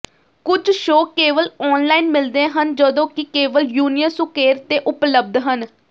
ਕੁਝ ਸ਼ੋਅ ਕੇਵਲ ਔਨਲਾਈਨ ਮਿਲਦੇ ਹਨ ਜਦੋਂ ਕਿ ਕੇਵਲ ਯੂਨੀਅਨ ਸੁਕੇਰ ਤੇ ਉਪਲਬਧ ਹਨ